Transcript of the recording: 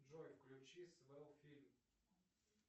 джой включи свел фильм